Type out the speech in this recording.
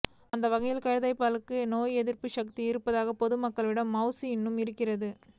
அந்த வகையில் கழுதை பாலுக்கும் நோய் எதிர்ப்பு சக்தி இருப்பதால் பொதுமக்களிடம் மவுசு இன்னும் இருக்கிறது